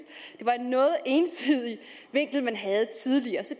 det var en noget ensidig vinkel man havde tidligere så